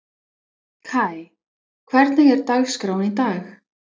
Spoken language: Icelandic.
Kai, hvernig er dagskráin í dag?